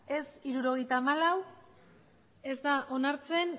ez hirurogeita hamalau ez da onartzen